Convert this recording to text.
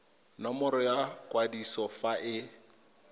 nomoro ya kwadiso fa e